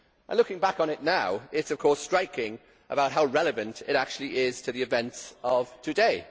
Looking back on it now, it is striking how relevant it actually is to the events of today.